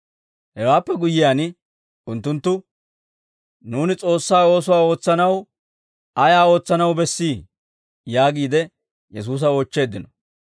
Hewaappe guyyiyaan unttunttu, «Nuuni S'oossaa oosuwaa ootsanaw ayaa ootsanaw bessii?» yaagiide Yesuusa oochcheeddino.